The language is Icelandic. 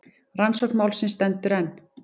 Rannsókn málsins stendur enn.